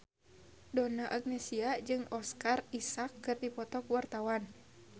Donna Agnesia jeung Oscar Isaac keur dipoto ku wartawan